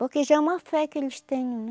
Porque já é uma fé que eles têm, né?